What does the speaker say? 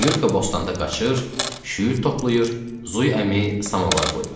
Nyurka bostanda qaçır, şüyüd toplayır, Zuy əmi samovar qoyur.